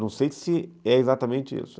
Não sei se é exatamente isso.